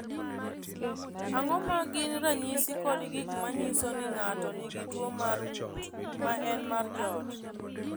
Ang’o ma gin ranyisi kod gik ma nyiso ni ng’ato nigi tuwo mar ng’ut, ma en mar joot?